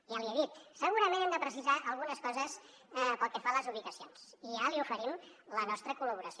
ja l’hi he dit segurament hem de precisar algunes coses pel que fa a les ubicacions i ja li oferim la nostra col·laboració